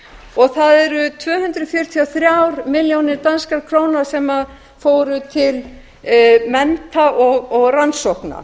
og það eru tvö hundruð fjörutíu og þrjár milljónir danskra króna sem fóru til mennta og rannsókna